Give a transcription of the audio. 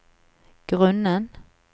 grunnen